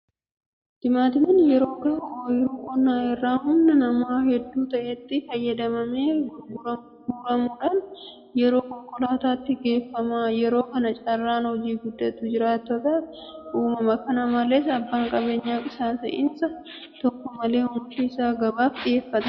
Timaatimiin yeroo gahu ooyiruu qonnaa irraa humna namaa hedduu ta'etti fayyadamamee guuramuudhaan gara konkolaataatti geeffama. Yeroo kana carraan hojii guddaatu jiraattotaaf uumama. Kana malees abbaan qabeenyaa qisaasa'insa tokko malee oomisha isaa gabaaf dhiyeeffata.